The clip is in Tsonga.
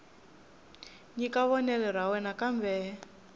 nyika vonelo ra yena kambe